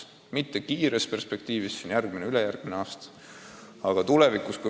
Seda küll mitte lähimas perspektiivis ehk järgmise ja ülejärgmise aasta perspektiivis, vaid tulevikus.